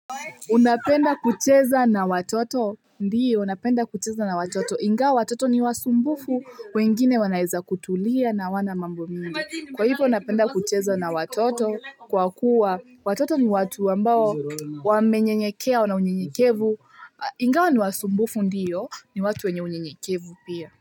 Unapenda kucheza na watoto ndiyo napenda kucheza na watoto ingawa watoto ni wasumbufu wengine wanaeza kutulia na hawana mambo mingi kwa hivyo unapenda kucheza na watoto kwa kuwa watoto ni watu ambao wamenyenyekea wanaunyenyekevu ingawa ni wasumbufu ndiyo ni watu wenye unyenyekevu pia.